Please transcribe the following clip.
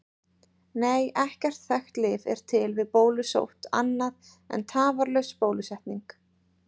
Nei, ekkert þekkt lyf er til við bólusótt annað en tafarlaus bólusetning.